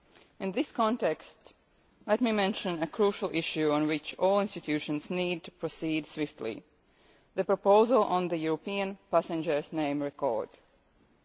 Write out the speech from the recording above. In this context, let me mention a crucial issue on which all the EU institutions need to proceed swiftly the proposal on a European Passenger Name Record scheme.